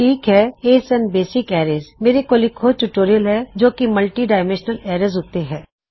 ਠੀਕ ਹੈ ਇਹ ਨੇ ਬੇਸਿਕ ਅਰੈਜ ਮੇਰੇ ਕੋਲ ਇੱਕ ਹੋਰ ਟਿਊਟੋਰਿਯਲ ਹੈ ਮਲੱਟਿਡਾਇਮੈੱਨਸ਼ਨਲ ਅਰੈਜ ਉੱਤੇ